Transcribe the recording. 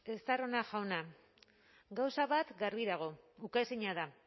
estarrona jauna gauza bat garbi dago ukaezina da